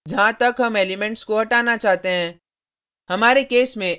जहाँ तक हम एलिमेंट्स को हटाना चाहते हैं